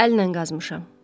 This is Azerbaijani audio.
Əllə qazmışam.